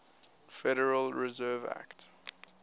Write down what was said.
federal reserve act